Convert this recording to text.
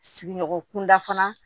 Sigiɲɔgɔn kunda fana